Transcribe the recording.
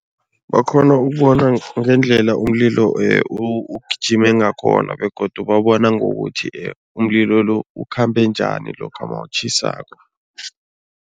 Bakghona ukubona ngendlela umlilo ugijime ngakhona begodu babona ngokuthi umlilo lo ukhambe njani lokha nawutjhisako.